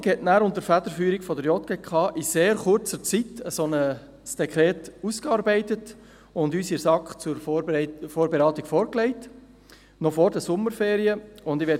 Die Verwaltung arbeitete danach unter der Federführung der JGK in sehr kurzer Zeit ein solches Dekret aus und legte es der SAK noch vor den Sommerferien zur Vorberatung vor.